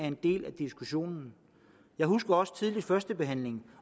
en del af diskussionen jeg husker også at der ved førstebehandlingen